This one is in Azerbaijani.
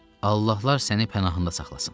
Allahlar səni pənahında saxlasın.